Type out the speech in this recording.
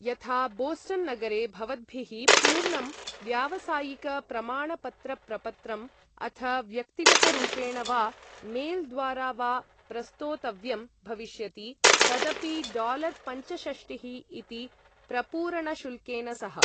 यथा, बोस्टन् नगरे भवद्भिः पूर्णं व्यावसायिकप्रमाणपत्रप्रपत्रम् अथ व्यक्तिगतरूपेण वा मेल् द्वारा वा प्रस्तोतव्यं भविष्यति, तदपि डालर् पञ्चषष्टिः इति प्रपूरणशुल्केन सह।